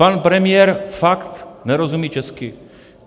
Pan premiér fakt nerozumí česky.